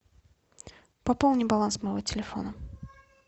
пополни баланс моего телефона